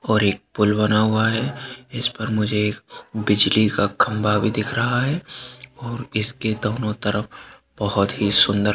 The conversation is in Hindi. और एक पुल बना हुआ है इस पर मझे एक बिजली का खम्भा भी दिख रहा है और इसके दोनों तरफ बहोत ही सुंदर--